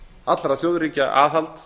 allra þjóðríkja aðhald